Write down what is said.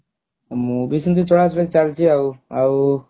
ମୁଁ ବି ସେମିତି ଚଳା ଚଳି ଚାଲଚି ଆଉ ଆଉ